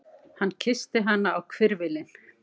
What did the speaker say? Hann kyssti hana á hvirfilinn.